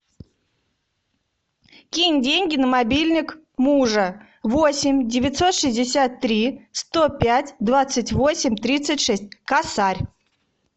кинь деньги на мобильник мужа восемь девятьсот шестьдесят три сто пять двадцать восемь тридцать шесть косарь